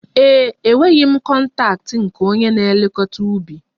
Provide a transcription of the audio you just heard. Ee e, enweghị m kọntaktị nke onye na-elekọta ubi